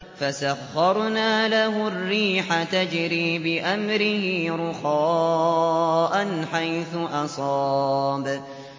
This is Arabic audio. فَسَخَّرْنَا لَهُ الرِّيحَ تَجْرِي بِأَمْرِهِ رُخَاءً حَيْثُ أَصَابَ